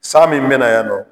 San min me na yan nɔ